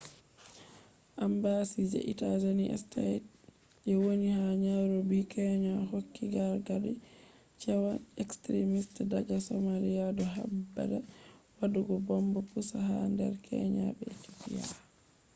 embassy je united states je woni ha nairobi kenya hokki gargadi cewa extrimist daga somalia” do habda wadugo bomb pusa ha nder kenya be ethiopia